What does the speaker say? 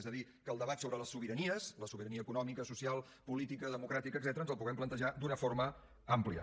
és a dir que el debat sobre les sobiranies la sobirania econòmica social política democràtica etcètera ens el puguem plantejar d’una forma àmplia